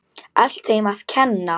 Allt þeim að kenna.!